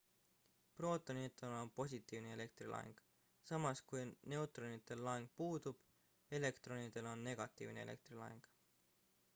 prootonitel on positiivne elektrilaeng samas kui neutronitel laeng puudub elektronidel on negatiivne elektrilaeng